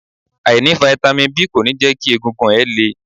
Àìní Fáítámì B kò ní jẹ́ kí egungun ẹ le.